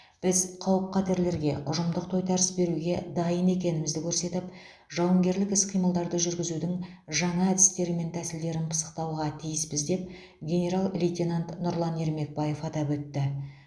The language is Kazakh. біз қауіп қатерлерге ұжымдық тойтарыс беруге дайын екенімізді көрсетіп жауынгерлік іс қимылдарды жүргізудің жаңа әдістері мен тәсілдерін пысықтауға тиіспіз деп генерал лейтенант нұрлан ермекбаев атап өтті